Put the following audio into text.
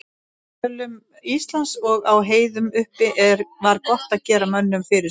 Í dölum Íslands og á heiðum uppi var gott að gera mönnum fyrirsát.